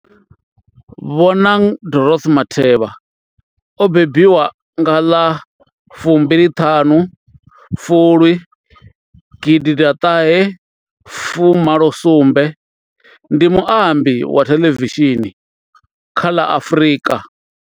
Bonang Dorothy Matheba o mbembiwa nga ḽa fumbili ṱhanu Fulwi gidi ḓa ṱahe fu malo sumbe, ndi muambi wa thelevishini kha ḽa Afrika.